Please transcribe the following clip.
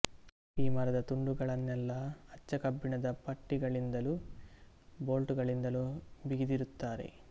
ಈ ಮರದ ತುಂಡುಗಳನ್ನೆಲ್ಲ ಅಚ್ಚ ಕಬ್ಬಿಣದ ಪಟ್ಟಿಗಳಿಂದಲೂ ಬೋಲ್ಟುಗಳಿಂದಲೂ ಬಿಗಿದಿರುತ್ತಾರೆ